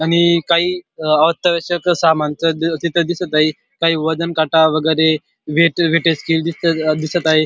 आणि काही अत्यावश्यक समान तिथे दिसत आहे काही वजनकाटा वगैरे दिसत आहे.